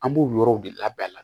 An b'o yɔrɔw de labɛn a la